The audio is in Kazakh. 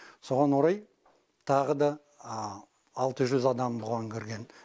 соған орай тағы да алты жүз адам бұған кірген